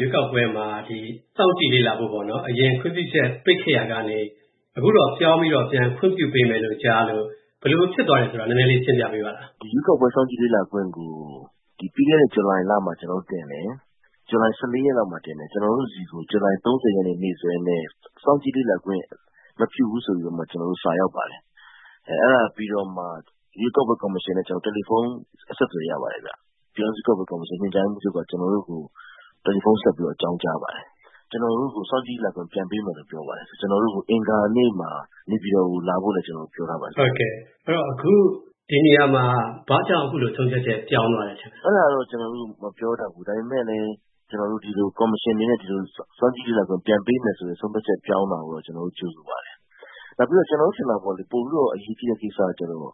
ရွေးကောက်ပွဲမှာ ဒီစောင့်ကြည့်လေ့လာဖို့ အရင်ခွင့်ပြုချက် ပိတ်ခဲ့ရာကနေ၊ အခုတော့ ပြောင်ပြီးတော့၊ ပြန်ခွင့်ပြုပေးမယ်လို့ ကြားရလို့၊ ဘယ်လိုဖြစ်သွားတယ်ဆိုတာ နည်းနည်းလေး ရှင်းပြပေးပါလား။ ဒီရွေးကောက်ပွဲစောင့်ကြည့်လေ့လာခွင့်ကို ပြီးခဲ့တဲ့ ဇူလိုင် ရက်လောက်မှာ ကျွန်တော်တို့ တင်တယ်၊ ကျွန်တော်တို့ဆီကို ဇူလိုင် ရက်နေ့ နေ့စွဲနဲ့ စောင့်ကြည့်လေ့လာခွင့် မပြုဘူးလို့ စာရောက်ပါတယ်။ အဲ့ဒါပြီးတော့မှ ရွေးကောက်ပွဲကော်မရှင်နဲ့ တယ်လီဖုန်း အဆက်အသွယ် ရပါတယ်ဗျ။ ပြည်တောင်စုရွေးကောက်ပွဲကော်မရှင် ညွန်ကြားရေးမှူးချုပ်က ကျွန်တော်တို့ကို တယ်လီဖုန်းဆက်ပြီးတော့ အကြောင်းကြားပါတယ်။ ကျွန်တော်တို့ကို စောင့်ကြည် လေ့လာခွင့် ပြန်ပေးမယ်လို့ ပြောပါတယ်။ ကျွန်တော်တို့ကို အင်္ဂါနေ့မှာ နေပြည်တော်ကို လာခဲ့ဖို့ကိုလည်း ပြောထားပါတယ်။ အခု ဒီနေရာမှာ ဘာကြောင့် ခုလို ဆုံးဖြတ်ချက်ပြောင်းသွားတယ်ထင်လဲ။ အဲ့ဒါတော့ ကျွန်တော်တို့ မပြောတတ်ဘူး။ ဒါပေမဲ့လည်း ကျွန်တော်တို့ ကော်မရှင် အနေနဲ့ ဒီလို စောင့်ကြည့်လေ့လာခွင့် ပြန်ပေးမယ်ဆိုတဲ့ ဆုံးဖြတ်ချက်ပြောင်းတာကိုတော့ ကြိုဆိုပါတယ်။ နောက်ပြီးတော့ ကျွန်တော်တို့ ထင်တာပေါ့လေ၊ ပိုပြီးတော့ အရေးကြီးတဲ့ ကိစ္စကကျတော့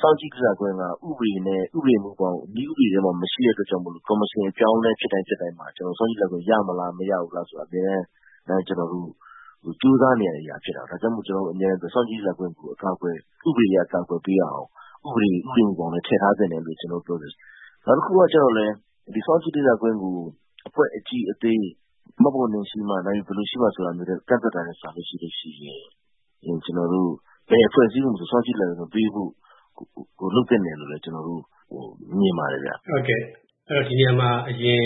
စောင့်ကြည့်လေ့လာခွင့်က ဥပဒေနဲ့ ဥပဒေမူဘောင်၊ နည်းဥပဒေထဲမှာ မရှိတဲ့ အတွက်ကြောင့်မို့၊ ကော်မရှင် အပြောင်းအလဲဖြစ်တိုင်း ဖြစ်တိုင်းမှာ၊ စောင့်ကြည့်လေ့လာခွင့်ရမလား၊ မရဘူးလားဆိုတာ အမြဲတမ်း ကျွန်တော်တို့ ကြိုးစားနေရတဲ့အရာဖြစ်တာကိုး။ ဒါကြောင့်မို့ ကျွန်တော်တို့ အမြဲတမ်းပြောတာက ဒီစောင့်ကြည့်လေ့လာခွင့်ကို ဥပဒေအရ အကာအကွယ် ပေးရအောင်၊ ဥပဒေမူဘောင်ထဲ ထည့်ထားသင့်တယ်လို့ ကျွန်တော်တို့ ပြောနေတာပါ။ နောက်တစ်ခုကကျတော့လည်း၊ ဒီစောင့်ကြည့်လေ့လာတာကို အဖွဲ့အကြီးအသေး၊ မှတ်ပုံတင်ရှိမှ နောက်ပြီး ဘယ်လိုရှိမှလို့ ကန့်သတ်တာမျိုးထက်စာရင်၊ ဘယ်အဖွဲ့အစည်းကိုမဆို စောင်ကြည့်လေ့လာခွင့်ပေးဖို့ လုပ်သင့်တယ်လို့လည်း ကျွန်တော်တို့ မြင်ပါတယ်ခင်ဗျ။ အဲ့ဒီတော့ ဒီနေရာမှာ အရင်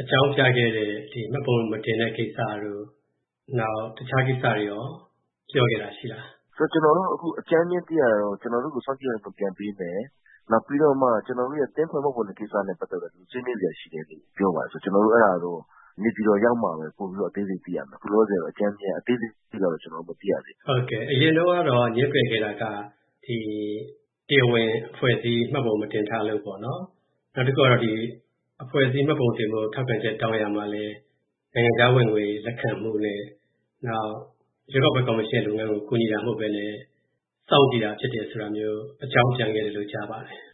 အကြောင်းပြခဲ့တဲ့ မှတ်ပုံမတင်တဲ့ကိစ္စတို့၊ နောက်တခြားကိစ္စတွေကိုရော ပြောခဲ့တာရှိလား။ ကျွန်တော်တော့ အကြမ်းဖျဉ်းသိရတာကတော့၊ ကျွန်တော်တို့ကို စောင့်ကြည့်လေ့လာခွင့်ကို ပြန်ပေးမယ်။ နောက်ပြီးတော့မှ ကျွန်တော်တို့ အသင်းအဖွဲ့မှတ်ပုံတင် ကိစ္စနဲ့ ပတ်သက်ပြီး ဆွေးနွေးစရာရှိတယ်လို့ ပြောပါတယ်။ အဲ့ဒါကတော့ နေပြည်တော်ရောက်မှပဲ ပိုပြီးတော့ အသေးစိတ်သိရမယ်။ အခုလောလောဆယ်အထိကတော့ အသေးစိတ်တော့ မသိရသေးဘူး။ အရင်တုန်းကတော့ ငြင်းပယ်ခဲ့တာက၊ ဒီ တရားဝင် အဖွဲ့အစည်းမှတ်ပုံမတင်ထားလို့၊ နောက်တစ်ခုက အဖွဲ့အစည်းမှတ်ပုံတင်ဖို့ ထောက်ခံချက်တောင်းရာမှာလည်း၊ နိုင်ငံခြားဝင်ငွေ လက်ခံမူနဲ့၊ နောက် ရွေးကောက်ပွဲကော်မရှင်ရဲ့ လုပ်ငန်းကို ကူညီတာမဟုတ်ဘဲနဲ့၊ စောင့်ကြည့်တာ ဖြစ်တယ်ဆိုတာမျိုး အကြောင်းပြန်ခဲ့တယ်လို့ ကြားပါတယ်။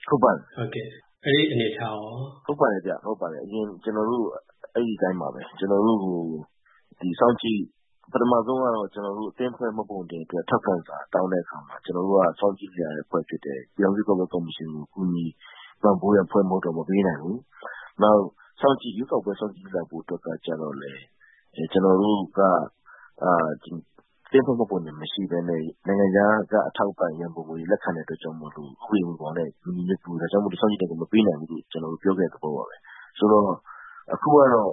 အဲ့ဒီ အနေအထားရော။ ဟုတ်ပါတယ်ဗျ။ အရင်ကျွန်တော်တို့ အဲ့ဒီအတိုင်းပါပဲ။ ကျွန်တော်တို့ ဒီ စောင့်ကြည့်၊ ပထမဆုံးကတော့ ကျွန်တော်တို့ အသင်းအဖွဲ့မှတ်ပုံတင်တာအတွက် ထောက်ခံစာတောာင်းတဲ့အခါမှာ ကျွန်တော်တို့က စောင့်ကြည့်တဲ့အဖွဲ့ဖြစ်တယ်၊ ပြည်ထောင်စု ရွေးကောက်ပွဲကော်မရှင်ကို ကူညီပံ့ပိုးတဲ့အဖွဲ့ မဟုတ်တဲ့အတွက် မပေးနိုင်ဘူး။ နောက် ရွေးကောက်ပွဲ စောင့်ကြည့်လေ့လာဖို့အတွက်လည်း ကျွန်တော်တို့က အသင်းအဖွဲ့မှတ်ပုံတင်မရှိဘဲနဲ့၊ နိုင်ငံခြားက အထောက်အပံ့ ရန်ပုံငွေလက်ခံတဲ့အတွက်ကြောင့်မို့၊ ဥပဒေမူဘောင်နဲ့ မညီညွတ်ဘူး၊ ဒါကြောင့် စောင့်ကြည့်လေ့လာခွင့် မပေးနိုင်ဘူးလို့ ပြောခဲ့တဲ့သဘောပါပဲ။ ဆိုတော့ အခုကတော့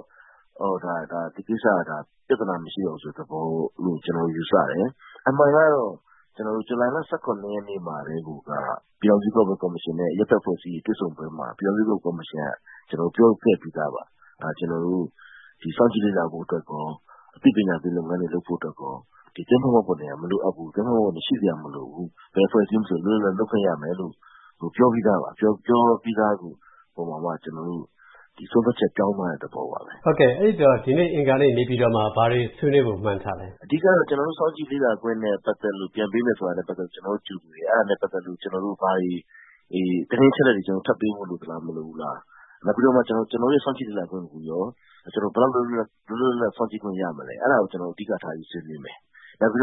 ဒီကိစ္စတွေဟာ ပြဿနာမရှိတော့ဘူးဆိုတဲ့သဘောလို့ ကျွန်တော်တို့ ယူဆတယ်။ အမှန်ကတော့ ဇူလိုင် ရက်နေ့မှာ ကတည်းက ပြည်ထောင်စုရွေးကောက်ပွဲကော်မရှင်နဲ့ အရပ်ဘက်အဖွဲ့အစည်းတွေ တွေ့ဆုံပွဲမှာ၊ ပြည်ထောင်စုရွေးကောက်ပွဲကော်မရှင်က ပြေခဲ့ပြီးသားပါ။ ကျွန်တော်တို့ ဒီစောင့်ကြည့်လေ့လာဖို့အတွက်ရော၊ အသိပညာပေးလုပ်ငန်းတွေလုပ်ဖို့အတွက်ရော၊ ဒီအသင်းအဖွဲ့မှတ်ပုံတင် မလိုအပ်ဘူး၊ ရှိစရာမလိုဘူး၊ ဘယ်အဖွဲ့အစည်းမဆို လွတ်လွတ်လပ်လပ် လုပ်ခွင့်ရမယ်လို့ ပြောပြီးသားပါ။ ခုလိုပြောပြီးသားကိုမှ၊ ဒီ ဆုံးဖြတ်ချက် ပြောင်းသွားတဲ့သဘောပဲ။ အဲ့ဒီတော့ ဒီနေ့အင်္ဂါနေ့ နေပြည်တော်မှာ ဘာတွေဆွေးနွေးဖို့ မှန်းထားလဲ။ အဓိကကတော့ ကျွန်တော်တို့ စောင့်ကြည့်လေ့လာခွင့်နဲ့ ပတ်သက်လို့ ပြန်ပေးမယ်ဆိုတာနဲ့ ပတ်သက်လို့ ကြိုဆိုတယ်။ အဲ့ဒါနဲ့ပတ်သက်လို့ ကျွန်တော်တို့ ဘာတွေ၊ သတင်းအချက်အလက်တွေ ထပ်ပေးဖို့ လိုသလား၊ မလိုဘူးလား။ နောက်ပြီးတော့မှ ကျွန်တော်တို့ရဲ့ စောင့်ကြည့်လေ့လာခွင့်ကိုရော ဘယ်လောက်အထိ လွတ်လွတ်လပ်လပ် စောင့်ကြည့်လေ့လာခွင့် ရမလဲ၊ အဲ့ဒါကို အဓိကထားပြီး ဆွေးနွေးမယ်။ နောက်ပြီး